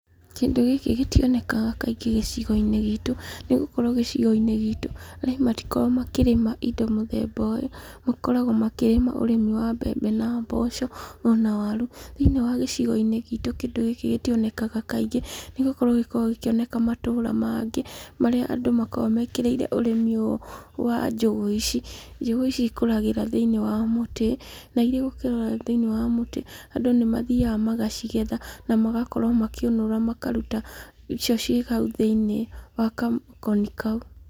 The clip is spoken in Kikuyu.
Kĩndũ gĩkĩ gĩtionekaga kaingĩ gĩcigo-inĩ gitũ, nĩgũkorwo gĩcigo-inĩ gitũ ,arĩmi matikoragwo makĩrĩma indo mũthemba ũyũ, makoragwo makĩrĩma ũrĩmi wa mbembe na mboco , ona waru, thĩiniĩ wa gĩcigo gitũ, kĩndũ gĩkĩ gĩti onekaga kaingĩ, nĩgũkorwo gĩkoragwo gĩkĩ onekana matũura mangĩ marĩa andũ makoragwo mekĩrĩire ũrĩmi ũyũ wa njũgũ ici, njũgũ ici ikũragĩra thĩiniĩ wa mũtĩ , na irĩ thĩiniĩ wa mũtĩ andũ nĩ mathiaga magacigetha na magakorwo magĩkĩũnũra makaruta icio ci hau thĩiniĩ wa gakoni kau.